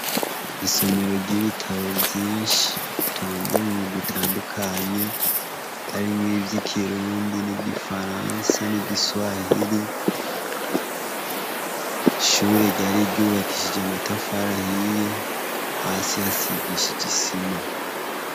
Isomero ry'ibitabo vyinshi, ibitabo bitandukanye, harimwo ivy'ikirundi n'igifaransa n'igiswahili. Ishure ryari ryubakishije amatafari ahiye, hasi hasigishije isima.